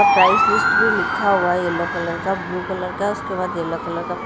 price list में लिखा हुआ येलो कलर का ब्लू कलर का उसके बाद येलो कलर का --